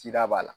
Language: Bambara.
Cida b'a la